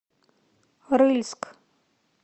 рыльск